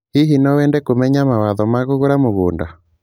Hihi no wende kũmenya mawatho ma kũgũra mũgũda?